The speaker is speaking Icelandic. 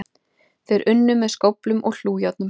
Þeir unnu með skóflum og hlújárnum